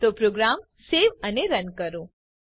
તો program save અને run કરો